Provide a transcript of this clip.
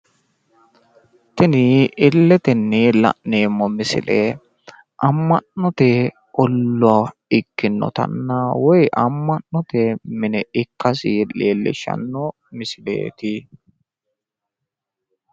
tini illetenni la'neemmo misile ama'note ollaa ikkinotanna woyi amma'note mine ikkasi leellishshanno misileeti.